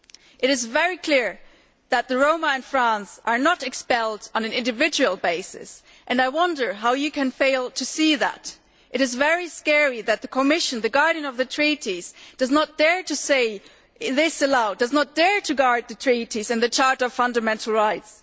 It is very clear that the Roma in France are not being expelled on an individual basis and I wonder how you can fail to see that. It is very scary that the Commission, the guardian of the treaties, does not dare to say this aloud, does not dare to guard the treaties and the Charter of Fundamental Rights.